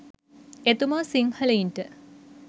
එතුමා සිංහලයින්ට